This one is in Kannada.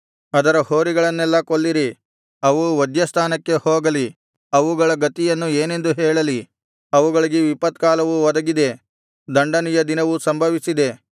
ಅದರ ಹೋರಿಗಳನ್ನೆಲ್ಲಾ ಕೊಲ್ಲಿರಿ ಅವು ವಧ್ಯಸ್ಥಾನಕ್ಕೆ ಹೋಗಲಿ ಅವುಗಳ ಗತಿಯನ್ನು ಏನೆಂದು ಹೇಳಲಿ ಅವುಗಳಿಗೆ ವಿಪತ್ಕಾಲವು ಒದಗಿದೆ ದಂಡನೆಯ ದಿನವು ಸಂಭವಿಸಿದೆ